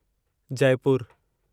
Jaipur